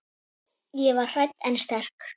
Ég var hrædd en sterk.